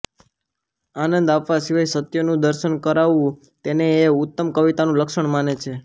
આનંદ આપવા સિવાય સત્યનું દર્શન કરાવવું તેને એ ઉત્તમ કવિતાનું લક્ષણ માને છે